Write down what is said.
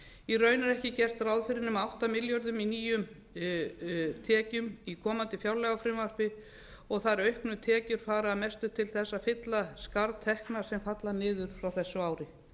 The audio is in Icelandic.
í raun er ekki gert ráð fyrir nema átta milljörðum í nýjum tekjum í komandi fjárlagafrumvarpi og þær auknu tekjur fara að mestu leyti til að fylla skarð tekna sem falla niður frá þessu ári